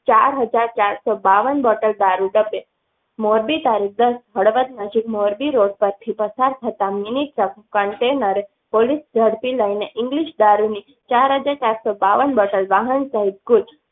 ચાર હજાર ચારસો બાવન bottle દારૂ મોરબી, તા. ભાણવડ નજીક મોરબી road પર થી પસાર થતા મિનિ container પોલીસે ઝડપી લઈ ને ઈંગ્લીશ દારૂ ની વાહન સહિત